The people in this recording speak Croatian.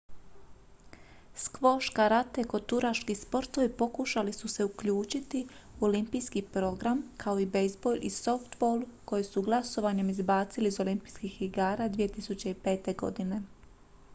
skvoš karate i koturaški sportovi pokušali su se uključiti u olimpijski program kao i bejzbol i softball koje su glasovanjem izbacili iz olimpijskih igara 2005. godine